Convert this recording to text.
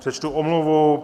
Přečtu omluvu.